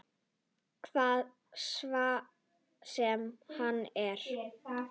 Hvað svo sem það er.